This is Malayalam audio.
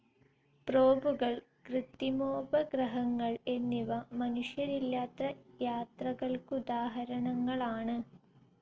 പ്രോബുകൾ കൃത്രിമോപഗ്രഹങ്ങൾ എന്നിവ മനുഷ്യരില്ലാത്ത യാത്രകൾക്കുദാഹരണങ്ങളാണ്.